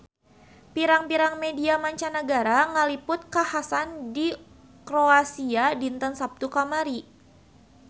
Pirang-pirang media mancanagara ngaliput kakhasan di Kroasia dinten Saptu kamari